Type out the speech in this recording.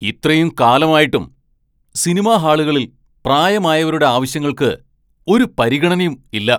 ഇത്രയും കാലം ആയിട്ടും സിനിമാ ഹാളുകളിൽ പ്രായമായവരുടെ ആവശ്യങ്ങൾക്ക് ഒരു പരിഗണയും ഇല്ല.